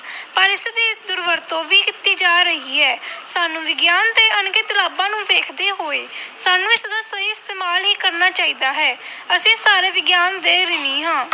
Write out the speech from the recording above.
ਪਰ ਇਸਦੀ ਦੁਰਵਰਤੋਂ ਵੀ ਕੀਤੀ ਜਾ ਰਹੀ ਹੈ ਸਾਨੂੰ ਵਿਗਿਆਨ ਦੇ ਅਣਗਿਣਤ ਲਾਭਾਂ ਨੂੰ ਵੇਖਦੇ ਹੋਏ ਸਾਨੂੰ ਇਸਦਾ ਸਹੀ ਇਸਤੇਮਾਲ ਹੀ ਕਰਨਾ ਚਾਹੀਦਾ ਹੈ ਅਸੀਂ ਸਾਰੇ ਵਿਗਿਆਨ ਦੇ ਰਿਣੀ ਹਾਂ।